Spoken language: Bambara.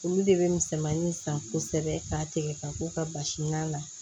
Olu de bɛ misɛnmanin san kosɛbɛ k'a tigɛ ka k'u ka basi ɲa na